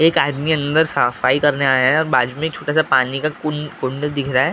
एक आदमी अंदर सफाई करने आया हैं और बाजू में एक छोटा सा पानी का कुं कुंड दिख रहा हैं।